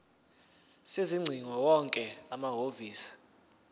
sezingcingo wonke amahhovisi